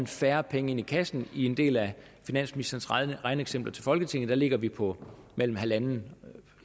færre penge i kassen i en del af finansministerens regneeksempler til folketinget ligger vi på mellem